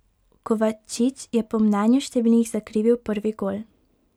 Kovačić je po mnenju številnih zakrivil prvi gol.